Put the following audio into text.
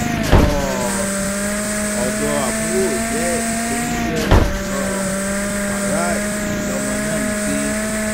um ọdọ àbúrò ìyá ẹ tó ń jẹ um fáráì lọmọ náà ń gbé